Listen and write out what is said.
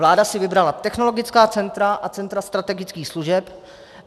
Vláda si vybrala technologická centra a centra strategických služeb.